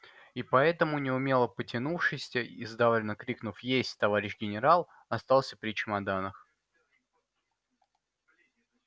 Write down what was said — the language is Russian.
и поэтому неумело потянувшись и сдавленно крикнув есть товарищ генерал остался при чемоданах